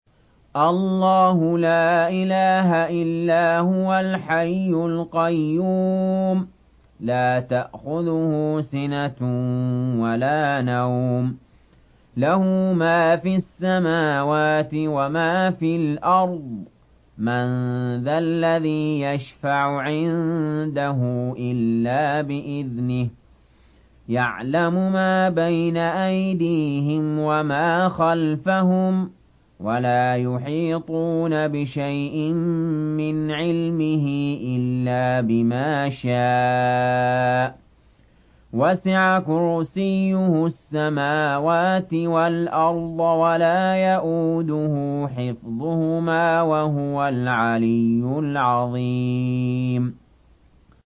اللَّهُ لَا إِلَٰهَ إِلَّا هُوَ الْحَيُّ الْقَيُّومُ ۚ لَا تَأْخُذُهُ سِنَةٌ وَلَا نَوْمٌ ۚ لَّهُ مَا فِي السَّمَاوَاتِ وَمَا فِي الْأَرْضِ ۗ مَن ذَا الَّذِي يَشْفَعُ عِندَهُ إِلَّا بِإِذْنِهِ ۚ يَعْلَمُ مَا بَيْنَ أَيْدِيهِمْ وَمَا خَلْفَهُمْ ۖ وَلَا يُحِيطُونَ بِشَيْءٍ مِّنْ عِلْمِهِ إِلَّا بِمَا شَاءَ ۚ وَسِعَ كُرْسِيُّهُ السَّمَاوَاتِ وَالْأَرْضَ ۖ وَلَا يَئُودُهُ حِفْظُهُمَا ۚ وَهُوَ الْعَلِيُّ الْعَظِيمُ